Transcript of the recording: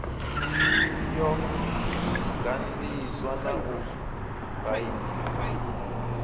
yo ganḓiswa na u baindiwa